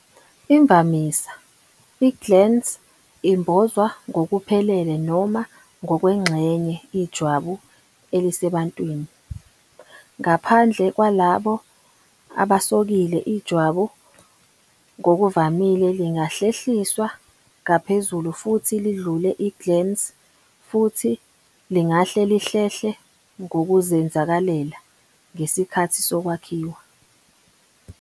Imvamisa, i-glans imbozwa ngokuphelele noma ngokwengxenye ijwabu elisebantwini, ngaphandle kwalabo abasokile. Ijwabu ngokuvamile lingahlehliswa ngaphezulu futhi lidlule i-glans, futhi lingahle lihlehle ngokuzenzakalela ngesikhathi sokwakhiwa.